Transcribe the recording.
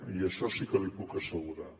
i això sí que l’hi puc assegurar